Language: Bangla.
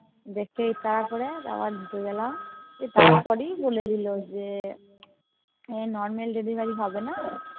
দেখে ইশারা করে আবার ঢুকে গেলাম তারপরেই বলেদিলো যে এ Normal Delivery হবেনা